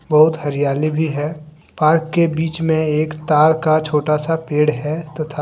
बहुत हरियाली भी है पार्क के बीच में एक तार का छोटा सा पेड़ है तथा--